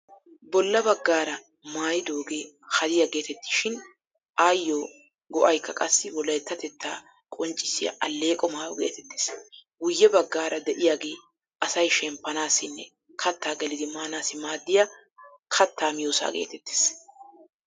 Bolla baggaara maayidooge hadiya geetettishin ayyo go'aykka qassi wolayttatettaa qonccissiya alleeqo maayo geetettees. Guyye baggaara de'iyaage asay shemppanassinne kattaa gelidi maanaassi maaddiya kattaa miyoosa geetettees.